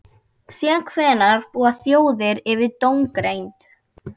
Síðan hvenær búa þjóðir yfir dómgreind?